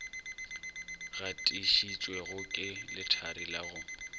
gatišitšwego ke lethari la go